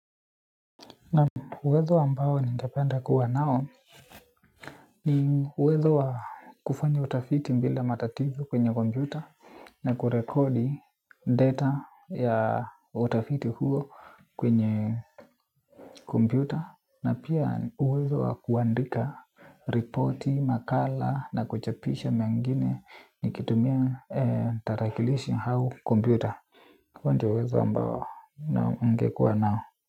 Uwezo ambao ningependa kuwa nao, uwezo wa kufanya utafiti bila matatizo kwenye kompyuta, na kurekodi data ya utafiti huo kwenye, kompyuta na pia uwezo wa kuandika ripoti, makala na kuchapisha mengine, nikitumia tarakilishi au kompyuta. Huo ndio uwezo ambao ningekuwa nao.